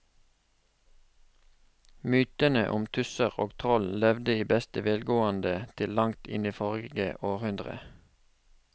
Mytene om tusser og troll levde i beste velgående til langt inn i forrige århundre.